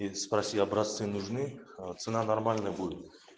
и спроси образцы нужны а цена нормальная будет